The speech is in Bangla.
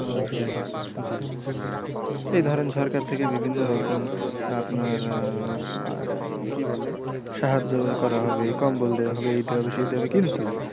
জি এই ধরেন সরকার থেকে বিভিন্ন রকম আপনার আহ কী বলে সাহায্য করা হবে কম্বল দেওয়া হবে এই দেওয়া হবে সেই দেওয়া হবে কিন্তু,